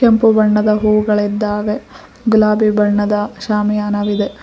ಕೆಂಪು ಬಣ್ಣದ ಹೂಗಳಿದ್ದಾವೆ ಗುಲಾಬಿ ಬಣ್ಣದ ಸ್ಯಾಮಿಯಾನವಿದೆ.